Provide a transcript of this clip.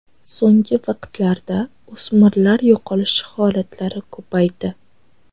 So‘nggi vaqtlarda o‘smirlar yo‘qolishi holatlari ko‘paydi.